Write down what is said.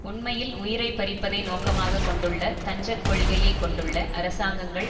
உண்மையில் உயிரை பறிப்பதை நோக்கமாக கொண்டுள்ள தஞ்சக் கொள்கையை கொண்டுள்ள அரசாங்கங்கள்